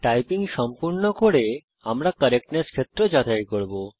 typing সম্পূর্ণ করে আমরা কারেক্টনেস ক্ষেত্র যাচাই করব